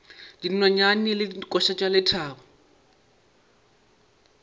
dinonyane le dikoša tša lethabo